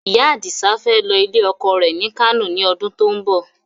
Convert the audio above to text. Ìyá Adisa fẹ́ lọ ilé ọkọ rẹ ni Kano ni ọdún to ń bọ̀